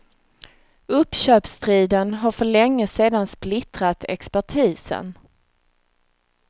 Uppköpsstriden har för länge sedan splittrat expertisen.